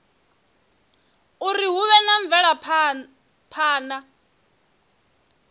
uri hu vhe na mvelaphana